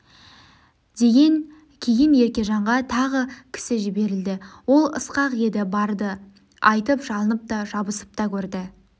деген кейін еркежанға тағы кісі жіберілді ол ысқақ еді барды айтып жалынып та жабысып та көрді